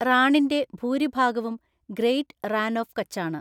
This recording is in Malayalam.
റാണിന്റെ ഭൂരിഭാഗവും ഗ്രേറ്റ് റാൻ ഓഫ് കച്ചാണ്.